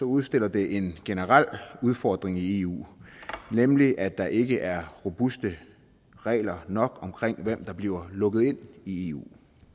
udstiller det en generel udfordring i eu nemlig at der ikke er robuste regler nok omkring hvem der bliver lukket ind i eu